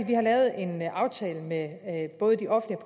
vi har lavet en aftale med både de offentlige